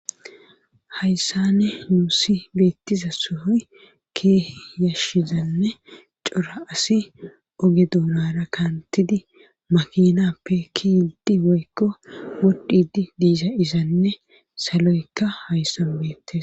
Hayssane nuusi beettiza sohoy keeh yashshizanne cora asi oge duunara kaantidi makinappe kiyidi woykko wodhidi diza izanne saloykka hayssan beettes.